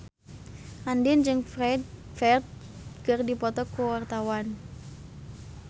Andien jeung Ferdge keur dipoto ku wartawan